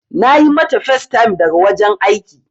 Na yi mata facetime daga wajen aiki.